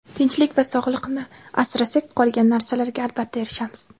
Tinchlik va sog‘liqni asrasak, qolgan narsalarga albatta erishamiz.